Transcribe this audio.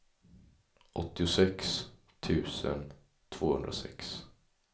åttiosex tusen tvåhundrasex